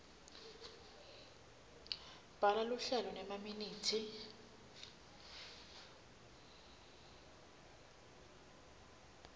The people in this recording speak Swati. bhala luhlelo nemaminithi